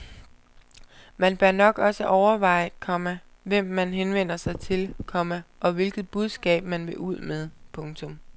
Man bør nok også overveje, komma hvem man henvender sig til, komma og hvilket budskab man vil ud med. punktum